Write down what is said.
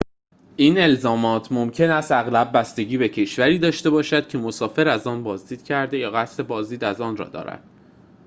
این الزامات ممکن است اغلب بستگی به کشوری داشته باشد که مسافر از آن بازدید کرده یا قصد بازدید از آن را دارد